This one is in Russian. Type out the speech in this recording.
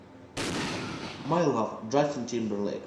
май лав джастин тимберлэйк